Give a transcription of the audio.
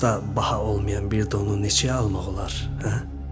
Çox da baha olmayan bir donu neçəyə almaq olar, hə?